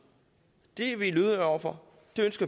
det er vi lydhøre over for